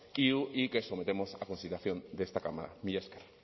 iu y que sometemos a consideración de esta cámara mila esker